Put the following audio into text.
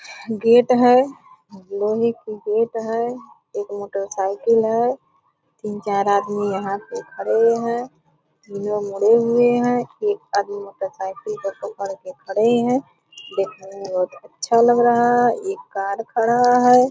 Gate है लोहे की गेट है एक मोटरसाइकिल है तीन-चार आदमी यहाँ पे खड़े है तीनों मुड़े हुए है एक आदमी मोटरसाइकिल को पकड़ के खड़े है देखने में बहुत अच्छा लग रहा है एक कार खड़ा है ।